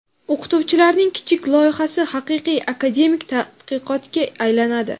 o‘qituvchilarning kichik loyihasi haqiqiy akademik tadqiqotga aylanadi.